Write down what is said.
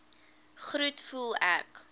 groet voel ek